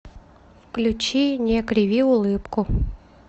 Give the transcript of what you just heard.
включи не криви улыбку